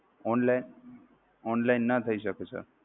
online online ના થય શકે sir